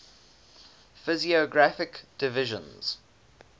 physiographic divisions